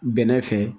Bɛnɛ fɛ